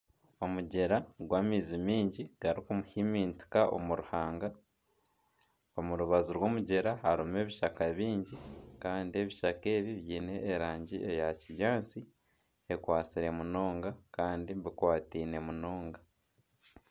Omugyera gw'amaizi mingi garikuhiimitinka omu ruhanga omu rubaju rw'omugyera harimu ebishaka bingi kandi ebishaka ebi byine erangi ya kinyaatsi ekwatsire munonga kandi bikwataine munonga.